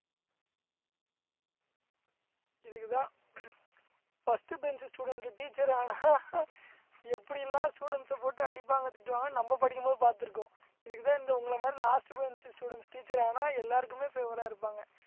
இதுக்கு தான் first bench student teacher ஆனா எப்படி எல்லாம் students அ போட்டு அடிப்பாங்க திட்டுவாங்கன்னு நம்ம படிக்கும் போது பார்த்திருக்கோம் இதுக்குதான் இந்த உங்களை மாதிரி last bench students teacher ஆனா எல்லாருக்குமே favor அஹ் இருப்பாங்க